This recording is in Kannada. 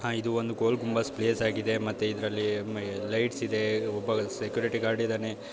ಹಾ ಇದು ಒಂದು ಗೋಲ್ ಗುಂಬಜ್ ಪ್ಲೇಸ್ ಆಗಿದೆ ಮತ್ತೆ ಇದರಲ್ಲಿ ಲೈಟ್ಸ್ ಇದೆ ಒಬ್ಬ ಸೆಕ್ಯೂರಿಟಿ ಗಾರ್ಡ್ ಇದನೇ.